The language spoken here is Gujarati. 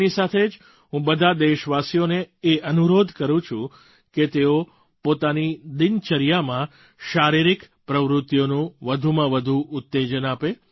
તેની સાથે જ હું બધાં દેશવાસીઓને એ અનુરોધ કરું છું કે તેઓ પોતાની દિનચર્યામાં શારીરિક પ્રવૃત્તિઓને વધુમાં વધુ ઉત્તેજન આપે